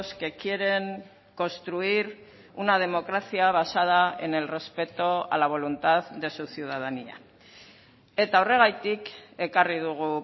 que quieren construir una democracia basada en el respeto a la voluntad de su ciudadanía eta horregatik ekarri dugu